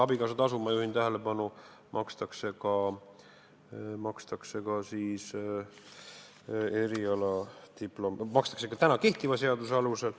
Abikaasatasu, ma juhin tähelepanu, makstakse ka kehtiva seaduse alusel.